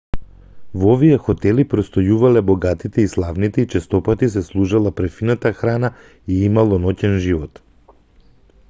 во овие хотели престојувале богатите и славните и честопати се служела префинета храна и имало ноќен живот